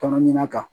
Tɔnɔ ɲina kan